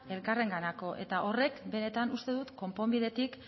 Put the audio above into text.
elkarrenganako eta horrek benetan konponbidetik